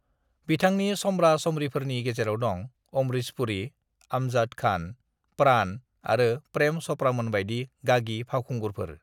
"बिथांनि समब्रा-समब्रिफोरनि गेजेराव दं- अमरीश पुरी, अमजद खान, प्राण आरो प्रेम चपड़ामोनबायदि गागि फावखुंगुरफोर।"